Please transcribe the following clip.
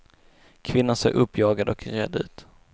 Kvinnan såg uppjagad och rädd ut.